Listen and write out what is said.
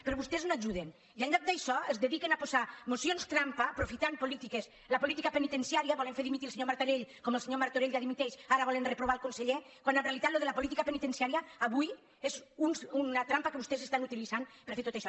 però vostès no ajuden i en lloc d’això es dedi·quen a posar mocions trampa aprofitant la política pe·nitenciària volent fer dimitir el senyor martorell com el senyor martorell ja dimiteix ara volen reprovar el conseller quan en realitat això de la política penitenci·ària avui és una trampa que vostès estan utilitzant per fer tot això